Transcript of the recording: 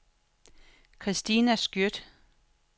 Kristina Skjødt